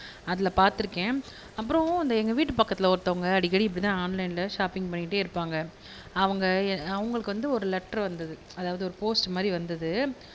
அதுல பாத்துருக்கேன் அப்புறம் இந்த எங்க வீட்டு பக்கத்துல ஒருத்தவங்க அடிக்கடி இப்படி தான் ஆன்லைன்ல ஷாப்பிங்க் பண்ணிக்கிட்டே இருப்பாங்க அவுங்க அவுங்களுக்கு வந்து ஒரு லெட்டரு வந்தது அதாவது ஒரு போஸ்ட்டு மாதிரி வந்தது